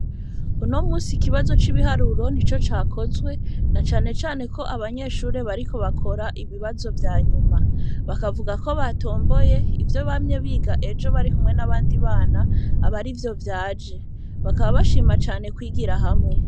Uno munsi ikibazo c'ibiharuro nico cakozwe na cane cane ko abanyeshure bariko bakora ibibazo vyanyuma, bakavuga ko batomboye ivyo bamye biga ejo barikumwe nabandi bana abe arivyo vyaje, bakaba bashima kwigira hamwe.